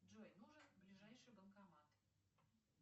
джой нужен ближайший банкомат